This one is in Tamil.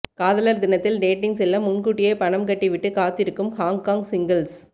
காதலர் தினத்தில் டேட்டிங் செல்ல முன்கூட்டியே பணம் கட்டி விட்டு காத்திருக்கும் ஹாங்காங் சிங்கிள்ஸ்